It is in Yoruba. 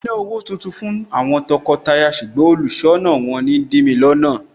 Mo fẹ́ ná owó tuntun fún àwọn tọkọtaya ṣùgbọ́n olùṣọ́nà wọn ń dìmi lọ́nà.